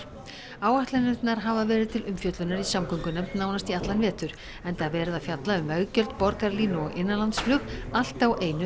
áætlanirnar hafa verið til umfjöllunar í samgöngunefnd nánast í allan vetur enda verið að fjalla um veggjöld borgarlínu og innanlandsflug allt á einu